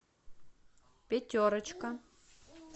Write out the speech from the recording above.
пятерочка